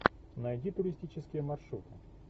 найди туристические маршруты